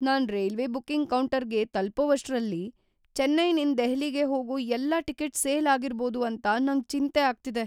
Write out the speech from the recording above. ನಾನ್ railway booking ಕೌಂಟರ್ಗೆ ತಲ್ಪೋವಷ್ಟ್ ರಲ್ ಚೆನ್ನೈನಿಂದ್ ದೆಹಲಿಗೆ ಹೋಗೋ ಎಲ್ಲಾ ಟಿಕೆಟ್ ಸೇಲ್ ಆಗಿರ್ಬೋದು ಅಂತ ನಂಗ್ ಚಿಂತೆ ಆಗ್ತಿದೆ.